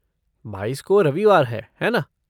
बाईस को रविवार है, है ना?